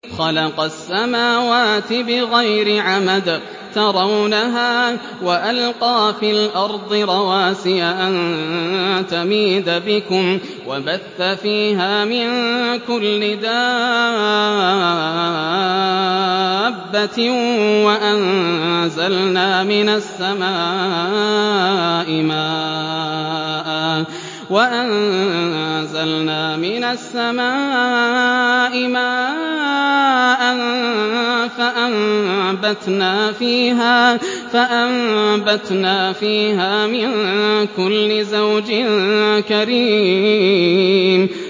خَلَقَ السَّمَاوَاتِ بِغَيْرِ عَمَدٍ تَرَوْنَهَا ۖ وَأَلْقَىٰ فِي الْأَرْضِ رَوَاسِيَ أَن تَمِيدَ بِكُمْ وَبَثَّ فِيهَا مِن كُلِّ دَابَّةٍ ۚ وَأَنزَلْنَا مِنَ السَّمَاءِ مَاءً فَأَنبَتْنَا فِيهَا مِن كُلِّ زَوْجٍ كَرِيمٍ